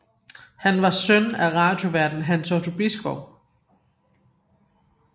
Han var søn af radioværten Hans Otto Bisgaard